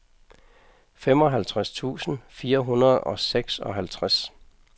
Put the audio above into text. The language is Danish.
femoghalvtreds tusind fire hundrede og seksoghalvtreds